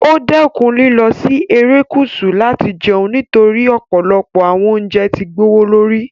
Ó dẹ́kun lílọ si Erékùsù láti jẹun nítorí ọ̀pọ̀lọpọ̀ àwọn ilé oúnjẹ ti gbowó lórí